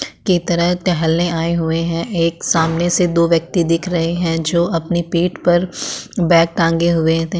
के तरह टहलने आये हुए हैं एक सामने से दो व्यक्ति दिख रहे हैं जो अपने पेट पर बैग टांगे हुए थे।